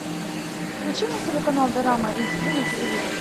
включи мне телеканал дорама эйч ди на телевизоре